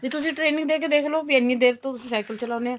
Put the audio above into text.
ਵੀ ਤੁਸੀਂ training ਦੇ ਕੇ ਦੇਖ ਲੋ ਵੀ ਇੰਨੀ ਦੇਰ ਤੋਂ cycle ਚਲਾਉਂਦੇ ਓ